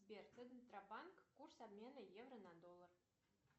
сбер центробанк курс обмена евро на доллар